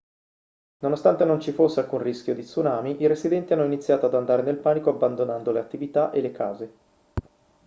nonostante non ci fosse alcun rischio di tsunami i residenti hanno iniziato ad andare nel panico abbandonando le attività e le case